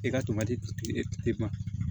E ka to ka ji e ma